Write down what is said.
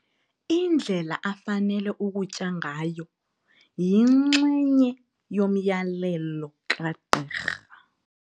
Indlela afanele ukutya ngayo yinxenye yomyalelo kagqirha.